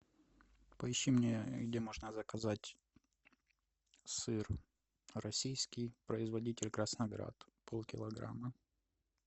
поищи мне где можно заказать сыр российский производитель красноград полкилограмма